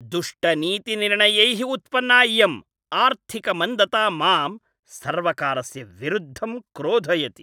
दुष्टनीतिनिर्णयैः उत्पन्ना इयम् आर्थिकमन्दता मां सर्वकारस्य विरुद्धं क्रोधयति।